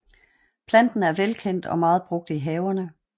Planten er velkendt og meget brugt i haverne